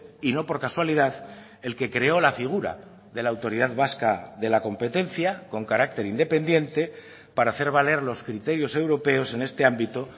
y no por casualidad el que creó la figura de la autoridad vasca de la competencia con carácter independiente para hacer valer los criterios europeos en este ámbito